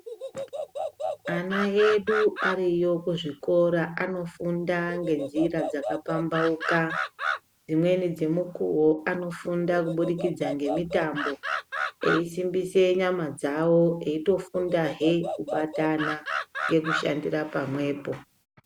Ana edu ariyo kuzvikora anofunda ngenzira dzakapambauka dzimweni dzemukuwo anofunda kubidikidza ngemitambo eisimbise nyamadzawo eitofundahe kubatana ngekushandira pamwepo.